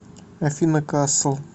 афина касл